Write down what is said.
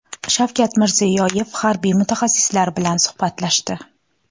Shavkat Mirziyoyev harbiy mutaxassislar bilan suhbatlashdi.